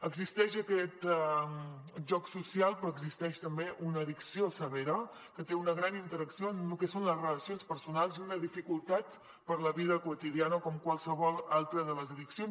existeix aquest joc social però existeix també una addicció severa que té una gran interacció en el que són les relacions personals i una dificultat per a la vida quotidiana com qualsevol altra de les addiccions